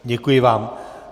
Děkuji vám.